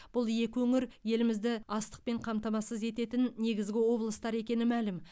бұл екі өңір елімізді астықпен қамтамасыз ететін негізгі облыстар екені мәлім